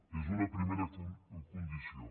n’és una primera condició